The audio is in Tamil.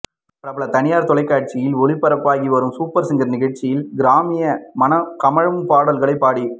பிரபல தனியார் தொலைக்காட்சியில் ஒளிபரப்பாகி வரும் சூப்பர் சிங்கர் நிகழ்ச்சியில் கிராமிய மனம் கமழும் பாடல்களை பாடி